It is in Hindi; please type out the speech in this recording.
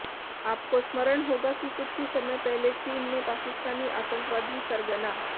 आपको स्मरण होगा कि कुछ ही समय पहले चीन ने पाकिस्तानी आतंकवादी सरगना